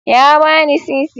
Ya bani sisi.